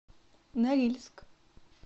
норильск